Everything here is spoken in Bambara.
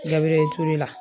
Gabirɛli ture la